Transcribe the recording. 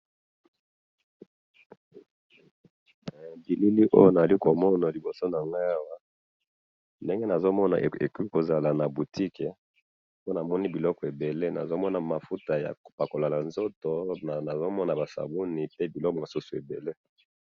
bilili oyo nazali ko mona liboso na ngayi awa ndenge na zo mona ezaka na boutique po na moni bikolo ebele nazo mona mafuta ya ko pakola nzoto nazo mona ba sabuni pe biloko mosusu ebele